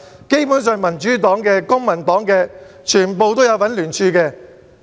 基本上民主黨和公民黨的全部成員也有聯署。